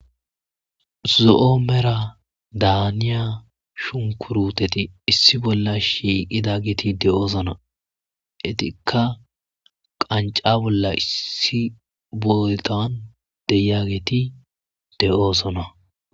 Zo'o merada haniya shunkurutetti issi bolla shiiqqidi de'osonna eettikka qancca bollan issi bollan de'iyagetti de'ossonna